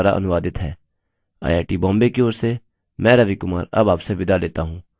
यह स्क्रिप्ट सकीना शेख द्वारा अनुवादित है आईआई टी बॉम्बे की ओर से मैं रवि कुमार अब आपसे विदा लेता हूँ